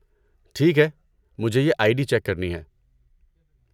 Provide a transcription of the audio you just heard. ٹھیک ہے، مجھے یہ آئی ڈی چیک کرنی ہے۔